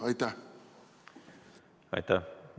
Aitäh!